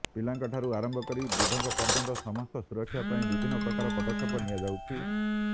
ପିଲାଙ୍କ ଠାରୁ ଆରମ୍ଭ କରି ବୃଦ୍ଧଙ୍କ ପର୍ଯ୍ୟନ୍ତ ସମସ୍ତଙ୍କ ସୁରକ୍ଷା ପାଇଁ ବିଭିନ୍ନ ପ୍ରକାର ପଦକ୍ଷେପ ନିଆଯାଉଛି